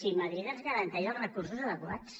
si madrid ens garanteix els recursos adequats